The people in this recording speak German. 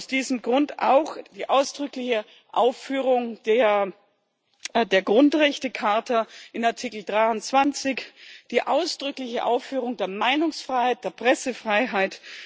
Aus diesem Grund auch die ausdrückliche Aufführung der Grundrechtecharta in Artikel 23, die ausdrückliche Aufführung der Meinungsfreiheit, der Pressefreiheit.